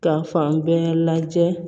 Ka fan bɛɛ lajɛ